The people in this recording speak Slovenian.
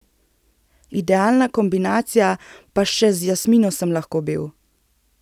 Idealna kombinacija, pa še z Jasmino sem lahko bil!